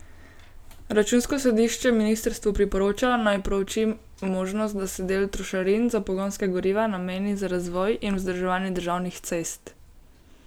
Računsko sodišče ministrstvu priporoča, naj prouči možnost, da se del trošarin za pogonska goriva nameni za razvoj in vzdrževanje državnih cest.